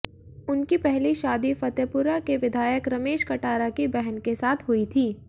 उनकी पहली शादी फतेपुरा के विधायक रमेश कटारा की बहन के साथ हुई थी